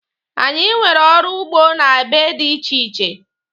Anyị nwere ọrụ ugbo n'ebe dị iche iche.